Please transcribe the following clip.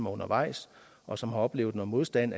undervejs og som har oplevet modstand